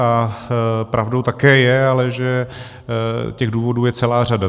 A pravdou také je ale, že těch důvodů je celá řada.